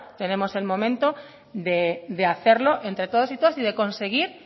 tenemos el momento de hacerlo entre todos y todas y de conseguir